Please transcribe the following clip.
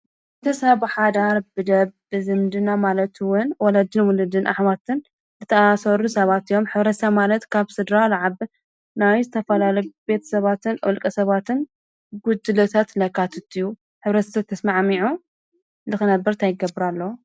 እንተ ሰብሓ ዳር ብደ ብዘምድና ኣለቱውን ወለጅን ውልድን ኣኅማትን እተኣሠሩ ሰባት እዮም ኅብረሰ ማለት ካብ ሥድራ ለዓብ ናዊዝተፈላል ቤት ሰባትን ወልቀ ሰባትን ጕድለተትለካ ትትዩ ኅብረስተት ተስማዓሚዑ ልኽነበርት ኣይገብረ ኣለ።